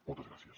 moltes gràcies